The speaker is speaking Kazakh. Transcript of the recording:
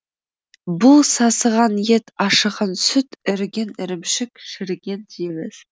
бұл сасыған ет ашыған сүт іріген ірімшік шіріген жеміс